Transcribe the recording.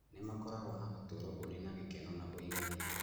nĩ makoragwo na ũtũũro ũrĩ na gĩkeno na ũiganĩru.